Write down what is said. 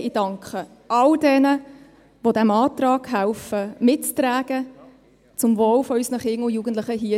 Ich danke all jenen sehr, die diesen Antrag mittragen, zum Wohle unserer Kinder und Jugendlichen.